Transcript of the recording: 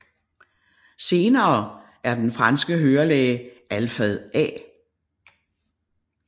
Senere er den franske hørelæge Alfred A